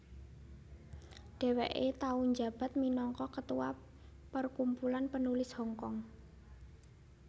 Dheweke tau njabat minangka ketua Perkumpulan Penulis Hongkong